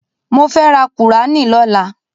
Mo fẹ́ rà kùúránì lọ́la.